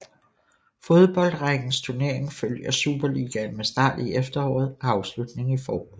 Fodboldrækkens turnering følger Superligaen med start i efteråret og afslutning i foråret